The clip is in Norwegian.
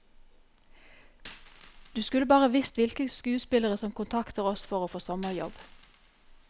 Du skulle bare visst hvilke skuespillere som kontakter oss for å få sommerjobb.